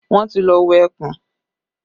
Wọ́n ti lọ wo ẹkùn